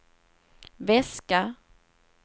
väska